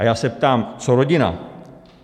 A já se ptám: co rodina?